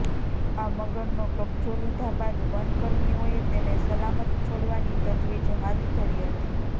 આ મગરનો કબજો લીધા બાદ વનકર્મીઓએ તેને સલામત છોડવાની તજવીજ હાથ ધરી હતી